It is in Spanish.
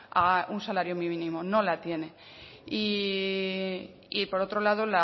a un salario mínimo no la tiene y por otro lado